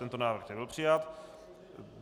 Tento návrh nebyl přijat.